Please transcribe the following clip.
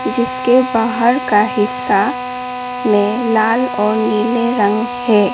इसके बाहर का हिस्सा में लाल और नीले रंग है।